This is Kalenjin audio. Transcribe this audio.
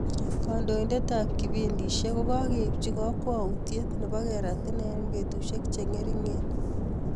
Kandoindet ap kipindisiek ko kakeipchii kakwautiet nepoo kerat inee eng petusiek chengeringen